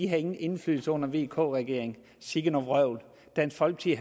havde ingen indflydelse under vk regeringen sikke noget vrøvl dansk folkeparti